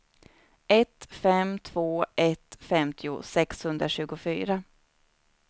ett fem två ett femtio sexhundratjugofyra